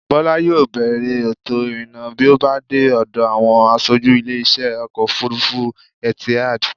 Bọ́lá yóò bèèrè ètò-ìrìnnà bí ó bá dé ọ̀dọ̀ àwọn asojú ilé-isẹ́ Ọkọ̀-òfurufú Etihad.